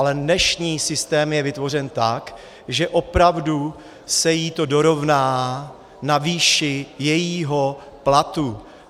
Ale dnešní systém je vytvořen tak, že opravdu se jí to dorovná na výši jejího platu.